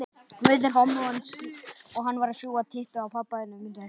Guð geymi ykkur og styrki.